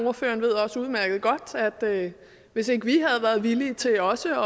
ordføreren ved også udmærket godt at hvis ikke vi havde været villige til også